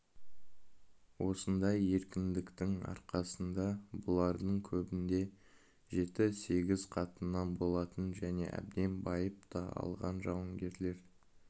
осындай еркіндіктің арқасында бұлардың көбінде жеті-сегіз қатыннан болатын және әбден байып та алған жауынгерлер